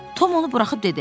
Tom onu buraxıb dedi: